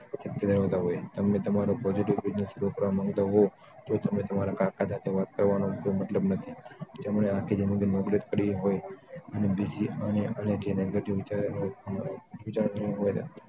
જણાવતા હોય તમને તમારો positive business grow કરવા માંગતા હો તો તે તમારા કાકા સાથે વાત કરવાનો કોઈ મતલબ નથી જેને આખી જિંદગી નોકરી જ કરી હોય અને એનાથી negative વિચારો જણાવતા હોય